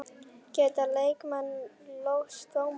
Geta leikmenn lögsótt dómara?